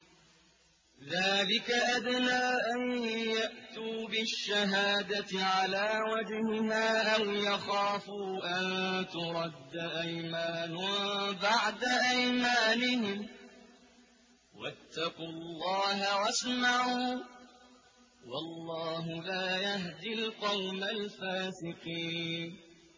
ذَٰلِكَ أَدْنَىٰ أَن يَأْتُوا بِالشَّهَادَةِ عَلَىٰ وَجْهِهَا أَوْ يَخَافُوا أَن تُرَدَّ أَيْمَانٌ بَعْدَ أَيْمَانِهِمْ ۗ وَاتَّقُوا اللَّهَ وَاسْمَعُوا ۗ وَاللَّهُ لَا يَهْدِي الْقَوْمَ الْفَاسِقِينَ